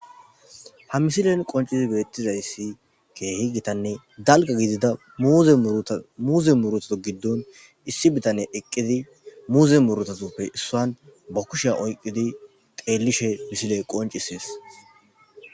ha misilen qoncisi beettizayssi keehi gitanne galga gidida muuze murutho giddon issi bitane eqqidi muuze murutasuppe issan ba kusheya oyqqidi teellishe misiley qoncisees